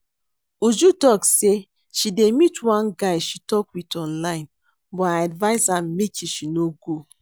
Uju talk say she dey meet one guy she talk with online but I advice am make she no go